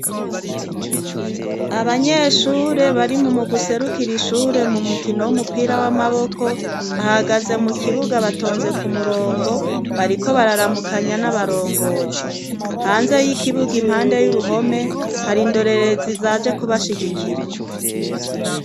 Abanyeshure bari mu mugwi userukira ishure mu mukino w'umupira w'amaboko, bahagaze mu kibuga batonze ku murongo bariko bararamukanya n'abarongozi, hanze y'ikibuga impande y'uruhome hari indorerezi zaje kubashigikira.